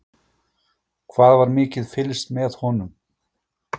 Hvað var mikið fylgst með honum?